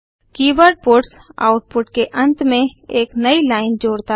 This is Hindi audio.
कीवर्ड पट्स आउटपुट के अंत में एक नयी लाइन जोड़ता है